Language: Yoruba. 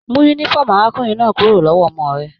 Mú yúnífọ̀ọ́mù arákùnrin náà kúrò lọwọ ọmọ rẹ!